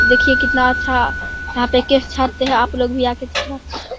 देखिये कितना अच्छा केश छाटता हैं --